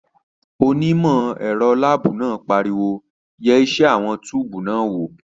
Onímọ̀ ẹ̀rọ láàbù náà pariwo "yẹ iṣẹ́ àwọn túùbù náà wò!"